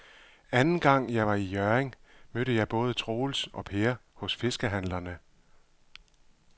Anden gang jeg var i Hjørring, mødte jeg både Troels og Per hos fiskehandlerne.